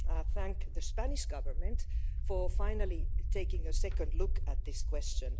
to thank the Spanish Government for finally taking a second look at this question.